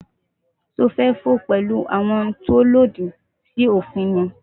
Sé o fę fò pęlú àwon oun tí òlòdì sí òfin ni?